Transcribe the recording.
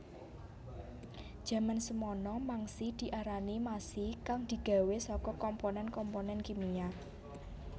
Jaman semana mangsi diarani masi kang digawé saka komponen komponen kimia